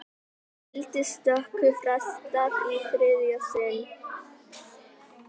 Gildistöku frestað í þriðja sinn